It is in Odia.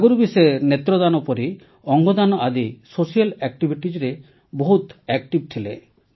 ଆଗରୁ ବି ସେ ନେତ୍ରଦାନ ପରି ଅଙ୍ଗଦାନ ଆଦି ସାମାଜିକ କାର୍ଯ୍ୟରେ ବହୁତ ସକ୍ରିୟ ଥିଲେ